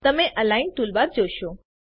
તમે align toolbar જોશો